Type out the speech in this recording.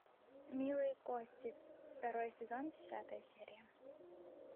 милые кости второй сезон десятая серия